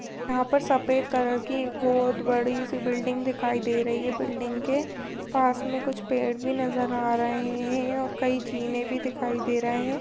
यहा पर सफेद कलर की एक बहुत बड़ी सी बिल्डिंग दिखाई दे रही है बिल्डिंग के पास मे कुछ पेड भी नजर आ रहे है कई जीने भी दिखाई दे रहे है।